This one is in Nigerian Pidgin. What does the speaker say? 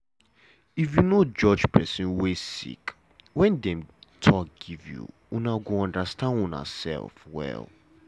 if you no judge pesin wey sick wen dem talk give you una go understand unasef well.